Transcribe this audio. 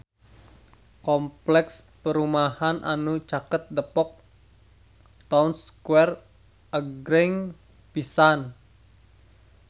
Kompleks perumahan anu caket Depok Town Square agreng pisan